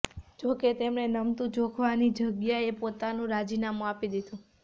જો કે તેમણે નમતુ જોખવાની જગ્યાએ પોતાનું રાજીનામુ આપી દીધુ